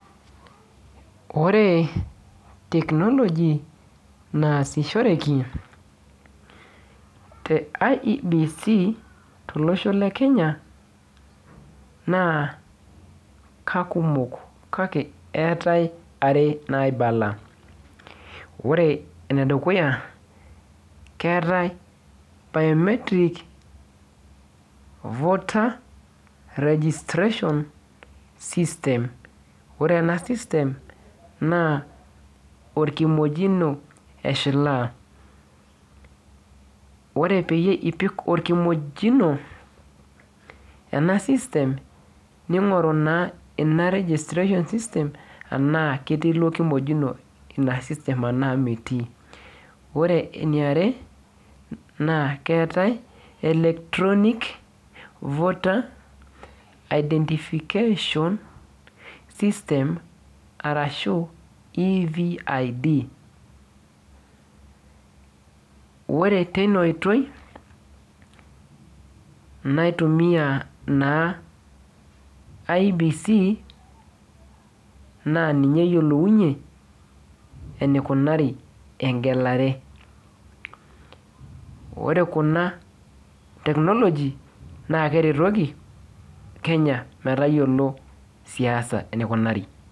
Ore technology naasishoreki te IEBC tolosho le Kenya, naa kakumok kake eetae are naibala. Ore enedukuya, keetae biometric voter registration system. Ore ena system naa orkimojino eshilaa. Ore peyie ipik orkimojino, ena system, ning'oru naa ina registration system anaa ketii ilo kimojino ena system anaa metii. Ore eniare, naa keetae electronic voter identification system ,arashu EVID. Ore teina oitoi, naitumia naa IEBC, naa ninye eyiolounye enikunari egelare. Ore kuna technology naa keretoki Kenya metayiolo siasa enikunari.